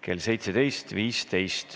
kell 17.15.